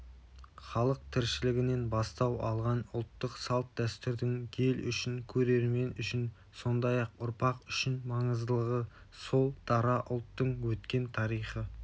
халық тіршілігінен бастау алған ұлттық салт-дәстүрдің ел үшін көрермен үшін сондай-ақ ұрпақ үшін маңыздылығы сол дара ұлттың өткен тарихы